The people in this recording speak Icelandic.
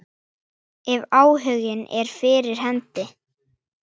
Ef áhuginn er fyrir hendi.